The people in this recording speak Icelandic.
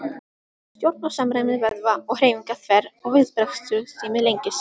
Stjórn og samræmi vöðva og hreyfinga þverr og viðbragðstími lengist.